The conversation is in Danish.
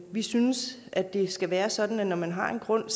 vi synes at det skal være sådan at når man har en grund